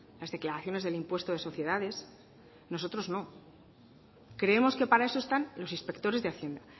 las declaraciones del impuesto de sociedades nosotros no creemos que para eso están los inspectores de hacienda